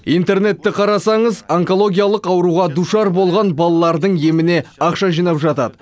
интернетті қарасаңыз онкологиялық ауруға душар болған балалардың еміне ақша жинап жатады